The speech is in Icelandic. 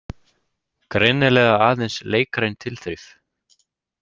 Greinilega aðeins leikræn tilþrif.